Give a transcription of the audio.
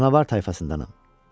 Canavar tayfasındanam.